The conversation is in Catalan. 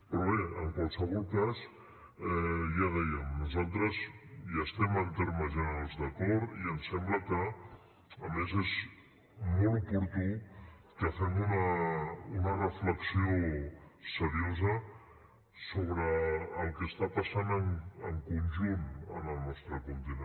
però bé en qualsevol cas ja ho dèiem nosaltres hi estem en termes generals d’acord i ens sembla que a més és molt oportú que fem una reflexió seriosa sobre el que està passant en conjunt en el nostre continent